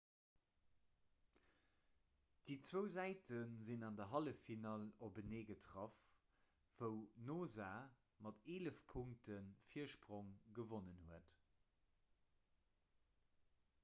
déi zwou säite sinn an der halleffinall openee getraff wou noosa mat 11 punkte virsprong gewonnen huet